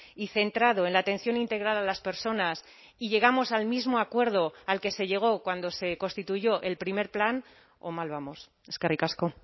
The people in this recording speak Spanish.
y centrado en la atención integral a las personas y llegamos al mismo acuerdo al que se llegó cuando se constituyó el primer plan o mal vamos eskerrik asko